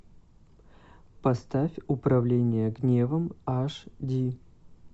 поставь управление гневом аш ди